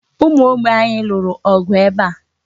Ụmụ Ogbe anyị lụrụ ọgụ ebe a.